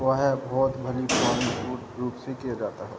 हुआ है बहुत बड़ी से किया जाता है ।